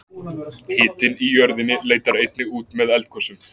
Hitinn í jörðinni leitar einnig út með eldgosum.